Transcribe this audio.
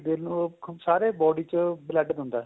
ਦਿਲ ਨੂੰ ਸਾਰੇ body ਚ blood ਦਿੰਦਾ